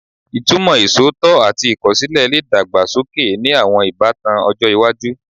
Ìtumọ̀ iṣootọ ati ikosile le dàgbà sókè ni àwọn ìbátan ọjọ́ iwájú